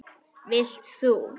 Vilt þú?